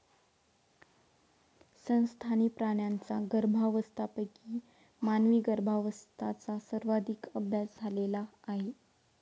संस्थानी प्राण्यांचा गर्भावस्थांपैकी मानवी गर्भांवस्थांचा सर्वाधिक अभ्यास झालेला आहे.